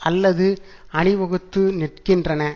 அல்லது அணிவகுத்து நிற்கின்றன